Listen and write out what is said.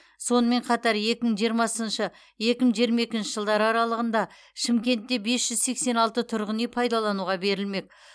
сонымен қатар екі мың жиырмасыншы екі мың жиырма екінші жылдар аралығында шымкентте бес жүз сексен алты тұрғын үй пайдалануға берілмек